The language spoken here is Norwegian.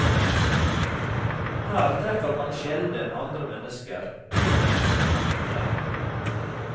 Her treffer man sjelden andre mennesker, kun noen katter.